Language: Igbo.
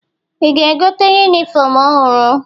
Ị ga-egote yunifọmụ ọhụrụ?